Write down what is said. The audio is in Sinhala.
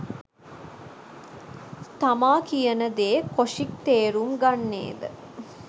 තමා කියනදේ කොෂික් තේරුම් ගන්නේ ද